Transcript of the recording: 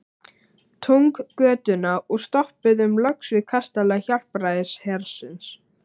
Túngötuna og stoppuðum loks við kastala Hjálpræðishersins.